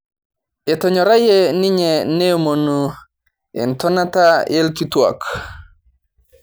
Etonyorayie ninye neomonu entonata orkituak